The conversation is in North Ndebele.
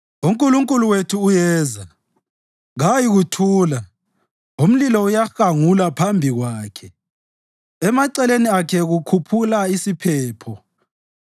UNkulunkulu wethu uyeza, kayikuthula; umlilo uyahangula phambi kwakhe, emaceleni akhe kukhukhula isiphepho.